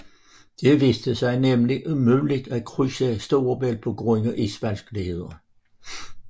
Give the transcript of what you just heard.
Det viste sig nemlig umuligt at krydse Storebælt på grund af isvanskeligheder